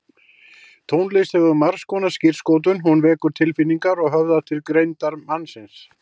Tónlist hefur margskonar skírskotun, hún vekur tilfinningar og höfðar til greindar mannsins.